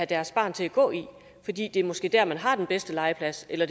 deres barn skal gå i fordi det måske er der man har den bedste legeplads eller